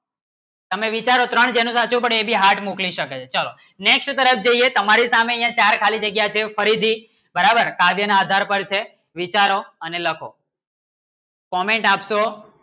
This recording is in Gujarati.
સમય વિચારો ત્રણ heart મુખી શકાય ચલો next. તરફ જોઈએ તમારે સામને એ ચાર ખાલી જગ્ય છે ફરીથી બરાબર સાધે ને હાજર બાર છે વિચારો અને લખો comment આપશો